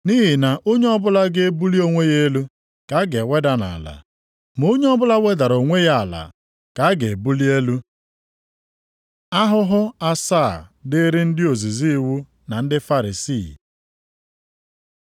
Nʼihi na onye ọbụla ga-ebuli onwe ya elu ka a ga-eweda nʼala. Ma onye ọbụla wedara onwe ya ala, ka a ga-ebuli elu.” Ahụhụ asaa dịịrị ndị ozizi iwu na ndị Farisii